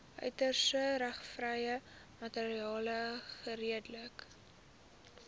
outeursregvrye materiaal geredelik